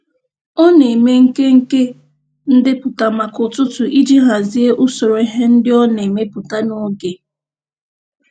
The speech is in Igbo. Ọ na-eme nkenke ndepụta maka ụtụtụ iji hazie usoro ihe ndị ọ na-emepụta n'oge.